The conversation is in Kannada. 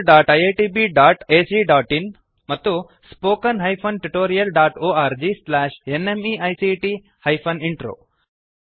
oscariitbacಇನ್ ಮತ್ತು spoken tutorialorgnmeict ಇಂಟ್ರೋ